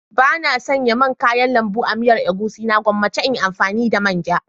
Bana sanya man kayan lambu a miyar egusi na gwammace in yi amfani da manja.